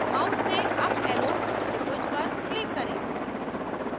mouse से up arrow त्रिभुज पर click करें